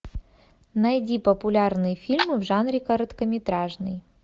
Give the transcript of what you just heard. найди популярные фильмы в жанре короткометражный